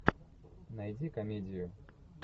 найди комедию